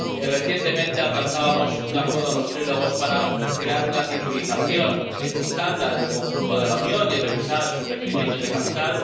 recientemente alcanzábamos un acuerdo en los diálogos tripartitos para crear una titulización estándar en el conjunto de la Unión y revisar sus requerimientos de capital